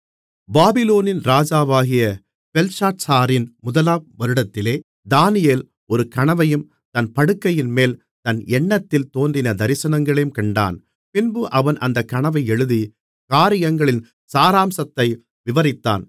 பாபிலோனின் ராஜாவாகிய பெல்ஷாத்சாரின் முதலாம் வருடத்திலே தானியேல் ஒரு கனவையும் தன் படுக்கையின்மேல் தன் எண்ணத்தில் தோன்றின தரிசனங்களையும் கண்டான் பின்பு அவன் அந்தக் கனவை எழுதி காரியங்களின் சாராம்சத்தை விவரித்தான்